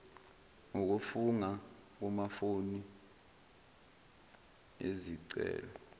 ngokufunga kumafomu ezicelo